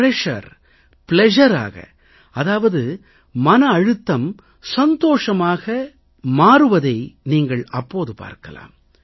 pressure pleasureஆக அதாவது மன அழுத்தம் சந்தோஷமாக மாறுவதை நீங்கள் அப்போது பார்க்கலாம்